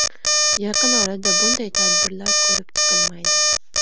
Yaqin orada bunday tadbirlar ko‘rib chqilmaydi.